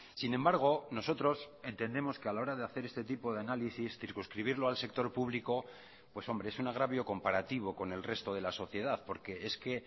sin embargo nosotros entendemos que a la hora de hacer este tipo de análisis circunscribirlo al sector público pues hombre es un agravio comparativo con el resto de la sociedad porque es que